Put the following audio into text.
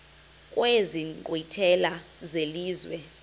kwezi nkqwithela zelizwe